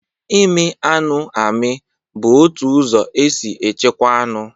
Ịmị anụ amị bụ otu ụzọ e si echekwa anụ.